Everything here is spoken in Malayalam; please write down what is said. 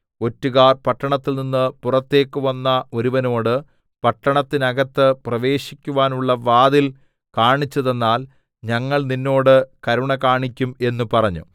ഒറ്റുകാർ പട്ടണത്തിൽനിന്നു പുറത്തേക്ക് വന്ന ഒരുവനോട് പട്ടണത്തിനകത്ത് പ്രവേശിക്കുവാനുള്ള വാതിൽ കാണിച്ചുതന്നാൽ ഞങ്ങൾ നിന്നോട് കരുണ കാണിക്കും എന്ന് പറഞ്ഞു